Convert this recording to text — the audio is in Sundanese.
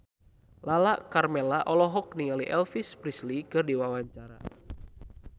Lala Karmela olohok ningali Elvis Presley keur diwawancara